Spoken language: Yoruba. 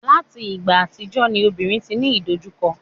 láti ìgbà àtijọ́ ni obìnrin ti ní idojukọ